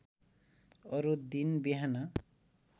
अरू दिन बिहान